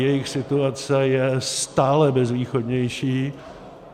Jejich situace je stále bezvýchodnější.